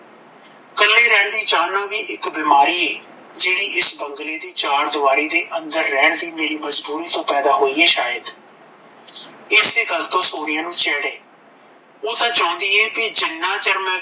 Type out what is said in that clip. ਕੱਲੀ ਰਹਿਣ ਦੀ ਚਾਹ ਵੀ ਇੱਕ ਬਿਮਾਰੀ ਏ ਜਿਹੜੀ ਇਸ ਬੰਗਲੇ ਦੀ ਚਾਰ ਦੀਵਾਰੀ ਦੇ ਅੰਦਰ ਰਹਿਣ ਦੀ ਮੇਰੀ ਮਜਬੂਰੀ ਤੋਂ ਪੈਦਾ ਹੋਈ ਹੀ ਸ਼ਾਇਦ ਇਸੇ ਗੱਲ ਤੋਂ ਸੋਨੀਆ ਨੂੰ ਚਿੜ ਐ ਓਹ ਤਾਂ ਚਾਹੁੰਦੀ ਐ ਕੇ ਜਿੰਨਾਂ ਚਿਰ ਮੈਂ